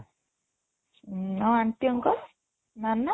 ଉଁ ଆଉ aunty uncle ମାନେ